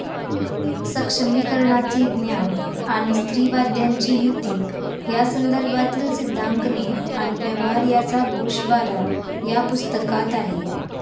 सक्षमीकरणाचे 'ज्ञान'आणि स्त्रीवाद्यांची युती या संदर्भातील सिद्धांकने आणि व्यवहार यांचा गोषवारा या पुस्तकात आहे.